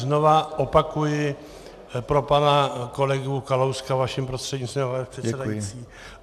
Znovu opakuji pro pana kolegu Kalouska, vaším prostřednictvím, pane předsedající.